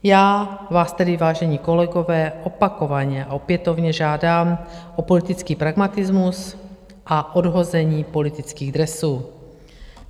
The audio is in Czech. Já vás tedy, vážení kolegové, opakovaně a opětovně žádám o politický pragmatismus a odhození politických dresů.